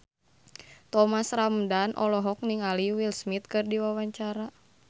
Thomas Ramdhan olohok ningali Will Smith keur diwawancara